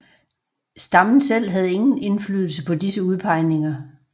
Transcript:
Stammen selv havde ingen indflydelse på disse udpegninger